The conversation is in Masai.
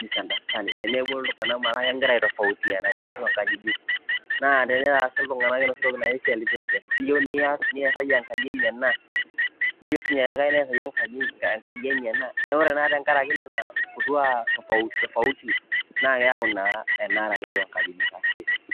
misunderstanding eneuo iltung'anak ometaa kegira aitofautiana tiatua inkajijik. Naa teneeta sii iltung'anak enoshi toki naji self-interest iyeu nias, niasaki enkaji inyi ena neyeu sinye olikai neasaki enkaji enye ena neeku ore naa tenkaraki nena kukua tofauti tofauti naake eyau naa enara tiatua nkajijik ashe.